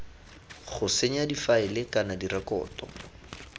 go senya difaele kana direkoto